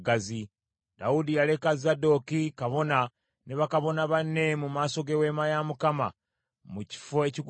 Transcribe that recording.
Dawudi yaleka Zadooki, kabona ne bakabona banne mu maaso g’eweema ya Mukama mu kifo ekigulumivu e Gibyoni